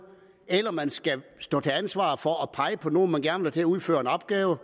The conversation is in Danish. eller at man skal stå til ansvar for at pege på nogen man gerne til at udføre en opgave